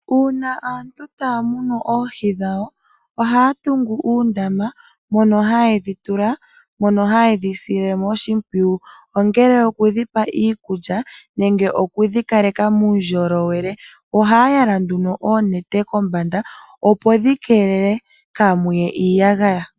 Uuna aantu taya munu oohi dhawo, ohaya tungu uundama mono haye dhi tula noshoo woo haye dhi sile oshimpwiyu ongele oku dhi pa iikulya nenge oku dhi kaleka muundjolowele, ohaya yala nduno oonete kombanda opo dhi keelele kaamuye iiyagaya.